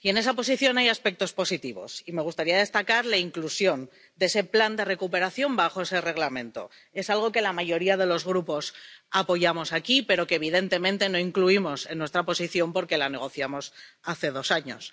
En esa posición hay aspectos positivos y me gustaría destacar la inclusión de ese plan de recuperación en ese Reglamento. Es algo que la mayoría de los grupos apoyamos aquí, pero que evidentemente no incluimos en nuestra posición porque la negociamos hace dos años.